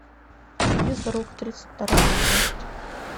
физрук тридцать вторая часть